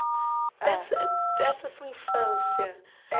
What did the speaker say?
Ah Dessa dessa sua infância eh.